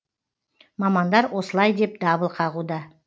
мамандар осылай деп дабыл қағуда